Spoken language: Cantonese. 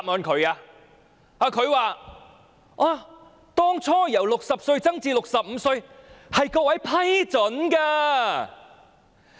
她說當初把60歲提高至65歲是各位批准的。